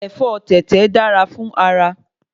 Ẹ̀fọ́ tẹ̀tẹ̀ dára fún ara